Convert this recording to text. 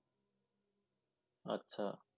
আচ্ছা